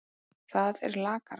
Það er lakara.